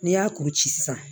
N'i y'a kuru ci sisan